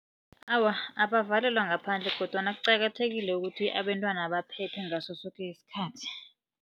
Awa, abavalelwa ngaphandle kodwana kuqakathekile ukuthi abentwana baphephe ngasosoke isikhathi.